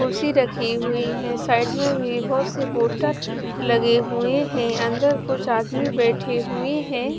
कुर्सी राखी हुई है साइड में भी बहत सी पोस्टर लगी हुए है अंदर कुछ आदमी बैठे हुए है।